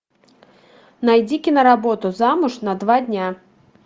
найди киноработу замуж на два дня